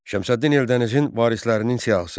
Şəmsəddin Eldənizin varislərinin siyahısı.